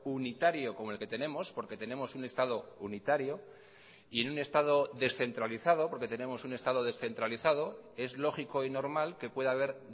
unitario como el que tenemos porque tenemos un estado unitario y en un estado descentralizado porque tenemos un estado descentralizado es lógico y normal que pueda haber